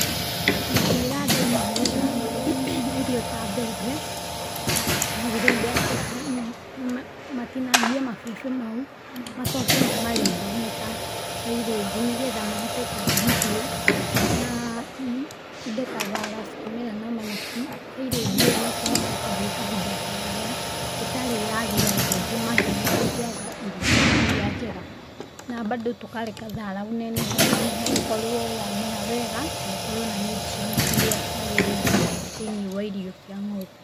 Ingĩĩra andũ magetha irio ta mbembe, magĩrĩire matinangie mabebe mau macoke mamarinde me ta silage nĩgetha mahote kũhe mahiũ, na indo ta thara cikĩmera na manyeki, silage ĩyo nĩ ĩkũhota gũthiĩ kahinda karaya ĩtarĩ ĩrathira na ningĩ mahiũ matikwaga irio iria njega na mbandũ tũkareka thaara ũnenehe ũnenehe ũkorwo wamera wega na ũkorwo na nutrients iria ciagĩrĩire thĩiniĩ wa irio cia ng'ombe.